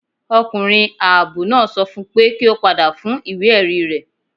Ọkunrin aabọ naa sọ fún pe ki o pada fun iwe-ẹri rẹ